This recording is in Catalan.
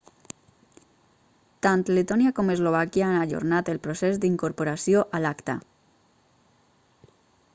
tant letònia com eslovàquia han ajornat el procés d'incorporació a l'acta